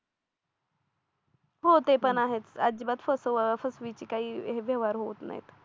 हो ते पण आहेत अजिबात फसवा फसवीची काही व्यवहार होत नाहीत